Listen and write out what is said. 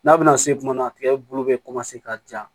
N'a bɛna se kuma na tigɛ bulu bɛ ka ja